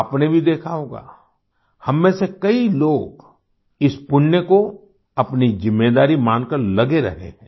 आपने भी देखा होगा हम में से कई लोग इस पुण्य को अपनी ज़िम्मेदारी मानकर लगे रहे हैं